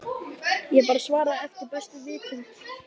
Ég bara svaraði eftir bestu vitund